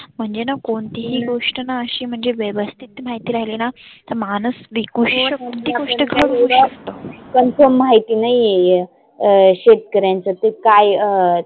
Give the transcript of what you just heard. म्हणजेना कोणती ही गोष्टना आशी म्हनजे व्यवस्थीत माहिती राहिलीना तर माणुस विकु confirm माहिती नाहीए शेतकऱ्यांच्या ते काय.